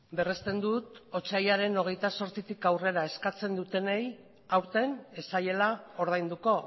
berresten dut otsailaren hogeita zortzitik aurrera eskatzen dutenei aurten ez zaiela ordainduko